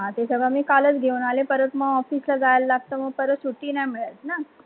त्याच्या मुडे मी कालस घेऊन आली परत मग ऑफिस ला जा लागतो मग सुट्टी नाही मिडत न